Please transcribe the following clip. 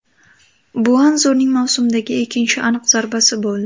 Bu Anzurning mavsumdagi ikkinchi aniq zarbasi bo‘ldi.